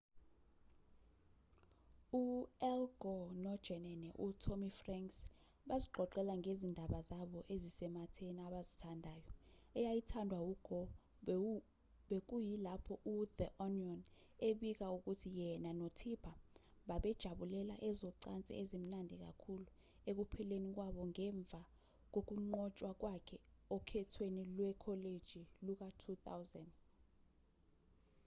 u-al gore nojenene u-tommy franks bazixoxela ngezindaba zabo ezisematheni abazithandayo eyayithandwa u-gore bekuyilapho u-the onion ebika ukuthi yena no-tipper babejabulela ezocansi ezimnandi kakhulu ekuphleni kwabo ngemva kokunqotshwa kwakhe okhethweni lwekholeji luka-2000